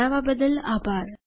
જોડાવા બદ્દલ આભાર